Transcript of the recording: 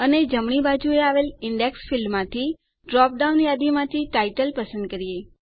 અને જમણી બાજુએ આવેલ ઈન્ડેક્સ ફીલ્ડમાંની ડ્રોપડાઉન યાદીમાંથી ટાઇટલ પસંદ કરીએ